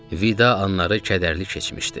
Vida anları kədərli keçmişdi.